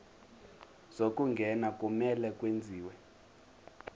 zokungena kumele kwenziwe